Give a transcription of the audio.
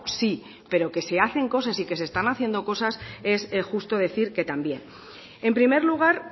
sí pero que se hacen cosas y que se están haciendo cosas es justo decir que también en primer lugar